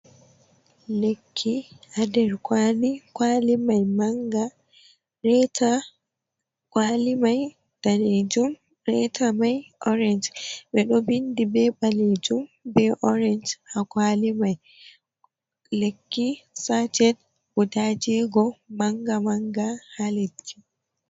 Lekki ha nder kwali mai manga, reta kwali mai danejum, reta mai orange, ɓe ɗo bindi ɓe balejum be orange ha kwali mai, lekki saced guda jeego manga manga ha lekki.